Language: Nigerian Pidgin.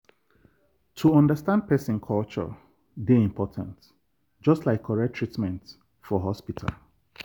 to understand person culture dey important just like correct treatment for hospital.